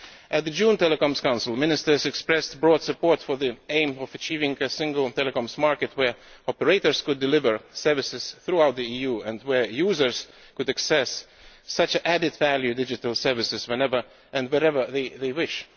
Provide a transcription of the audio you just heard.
At the June Telecoms Council, ministers expressed broad support for the aim of achieving a single telecoms market where operators could deliver services throughout the EU and where users could access such added value digital services whenever and wherever they wished.